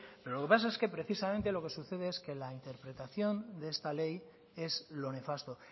pero lo que pasa es que precisamente lo que sucede es que la interpretación de esta ley es lo nefasto